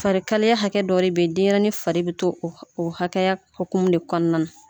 Farikalaya hakɛ dɔ beyi denɲɛrɛnin fari bɛ to o hakɛya hokumu de kɔnɔna na.